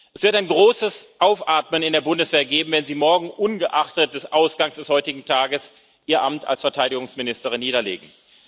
Es wird ein großes Aufatmen in der Bundeswehr geben, wenn Sie morgen ungeachtet des Ausgangs des heutigen Tages Ihr Amt als Verteidigungsministerin niederlegen.